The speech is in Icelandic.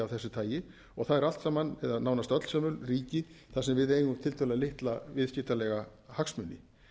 þessu tagi og það eru nánast öll sömul ríki þar sem við eigum tiltölulega litla viðskiptalega hagsmuni